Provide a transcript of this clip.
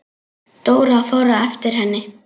Dóra fór á eftir henni.